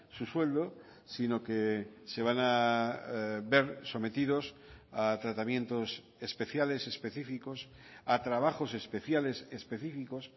su sueldo sino que se van a ver sometidos a tratamientos especiales específicos a trabajos especiales específicos